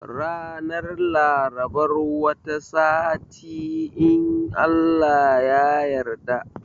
Ranar Larabar wata sati in Allah ya yarda